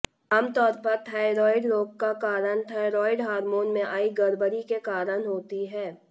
आमतौर पर थायरॉइड रोग का कारण थायरॉइड हार्मोन में आई गड़बड़ी के कारण होती है